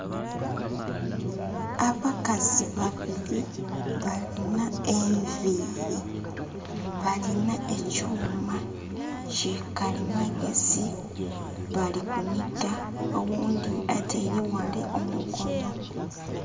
Abakazi babiri balina enviri. Balina ekyuma kikalimagezi. Bali kuniga, Oghundi ataire wale omukono